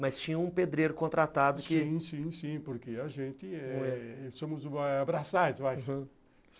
Mas tinha um pedreiro contratado que... Sim, sim, sim, porque a gente eh somos braçais, uhum.